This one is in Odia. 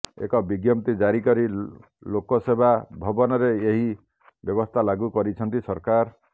ଏକ ବିଜ୍ଞପ୍ତି ଜାରି କରି ଲୋକସେବା ଭବନରେ ଏହି ବ୍ୟବସ୍ଥା ଲାଗୁ କରିଛନ୍ତି ସରକାର